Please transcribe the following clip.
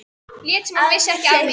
Lét sem hún vissi ekki af mér.